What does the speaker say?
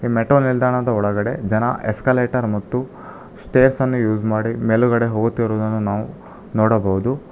Metro ನಿಲ್ದಾಣದ ಒಳಗಡೆ ಜನ ಎಸ್ಕಲೇಟರ್ ಮತ್ತು ಸ್ಟೇರ್ಸನ್ನು ಊಸ್ ಮಾಡಿ ಮೆಲುಗಡೆ ಹೋಗುತ್ತಿರುವುದನ್ನು ನಾವು ನೋಡಬಹುದು.